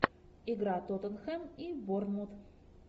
игра тоттенхэм и борнмут